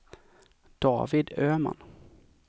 David Öman